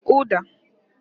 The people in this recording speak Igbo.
Uda